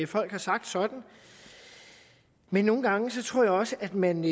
folk har sagt sådan men nogle gange tror jeg også at man